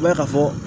I b'a ye ka fɔ